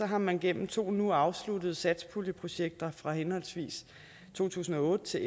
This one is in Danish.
har man gennem to nu afsluttede satspuljeprojekter fra henholdsvis to tusind og otte til